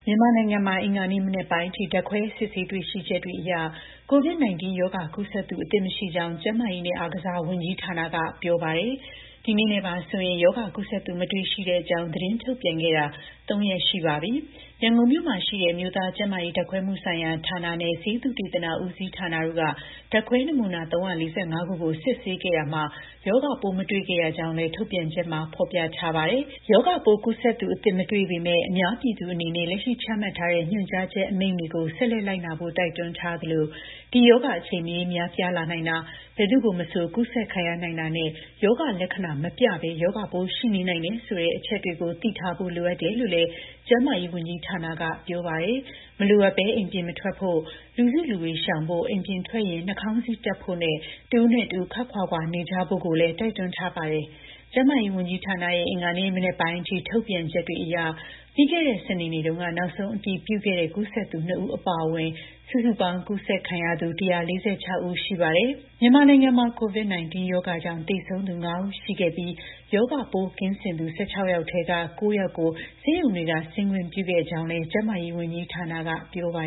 ြန်မာနိုင်ငံမှာ အင်္ဂါနေ့ မနက်ပိုင်းအထိ ဓာတ်ခွဲစစ်ဆေး တွေ့ရှိချက်တွေအရ COVID-19 ရောဂါကူးစက်သူ အသစ်မရှိကြောင်း ကျန်းမာရေးနဲ့ အားကစား ဝန်ကြီးဌာနက ပြောပါတယ်။ ဒီနေ့နဲ့ပါဆိုရင်တော့ ရောဂါကူးစက်သူ မတွေ့ရှိတဲ့အကြောင်း သတင်းထုတ်ပြန်ခဲ့တာ ၃ ရက် ရှိသွားပါပြီ။ ရန်ကုန်မြို့မှာရှိတဲ့ အမျိုးသားကျန်းမာရေး ဓာတ်ခွဲမှုဆိုင်ရာဌာနနဲ့ ဆေးသုတေသနဦးစီးဌာနတို့က ဓာတ်ခွဲနမူနာ ၃၄၅ ခုကို စစ်ဆေးခဲ့ရာမှာ ရောဂါပိုးမတွေ့ခဲ့ရကြောင်းလည်း ထုတ်ပြန်ချက်မှာ ဖော်ပြထားပါတယ်။ ရောဂါပိုးကူးစက်သူအသစ် မတွေ့ပေမဲ့လည်း အများပြည်သူ အနေနဲ့ လက်ရှိ ချမှတ်ထားတဲ့ ညွှန်ကြားချက် အမိန့်တွေကို ဆက်လက် လိုက်နာဖို့ တိုက်တွန်းထားသလို ဒီ ရောဂါ အချိန်မရွေး များပြားလာနိုင်တာ ဘယ်သူ့ကို မဆို ကူးစက်ခံရနိုင်တာနဲ့ ရောဂါ လက္ခဏာ မပြဘဲ ရောဂါပိုး ရှိနေနိုင်တယ် ဆိုတဲ့ အချက်တွေ သိထားဖို့လိုအပ်တယ်လို့လည်း ကျန်းမာရေး ဝန်ကြီးဌာနက ပြောပါတယ်။ မလိုအပ်ဘဲ အိမ်ပြင်မထွက်ဖို့၊ လူစုလူဝေးရှောင်ဖို့၊ အိမ်ပြင်ထွက်ရင် နှာခေါင်းစည်းတပ်ဖို့နဲ့ တစ်ဦးနဲ့တစ်ဦး ခွပ်ခွာခွာ နေကြဖို့လည်း တိုက်တွန်းထားပါတယ်။ ကျန်းမာရေး ဝန်ကြီးဌာနရဲ့ အင်္ဂါနေ့မနက်ပိုင်းအထိ ထုတ်ပြန်ချက်တွေအရ ပြီးခဲ့တဲ့ စနေနေ့တုန်းက နောက်ဆုံးအတည်ပြုခဲ့တဲ့ ကူးစက်သူ ၂ ဦး အပါအဝင် စုစုပေါင်း ကူးစက်ခံရသူ ၁၄၆ ယောက် ရှိပါတယ်။ မြန်မာနိုင်ငံမှာ COVID-19 ရောဂါကြောင့် သေဆုံးသူ ၅ ဦး ရှိခဲ့ပြီး ရောဂါပိုးကင်းစင်သူ ၁၆ ယောက်ထဲက ၉ ယောက်ကို ဆေးရုံတွေက ဆင်းခွင့်ပြုခဲ့ကြောင်းလည်း ကျန်းမာရေးဝန်ကြီးဌာနက ပြောပါ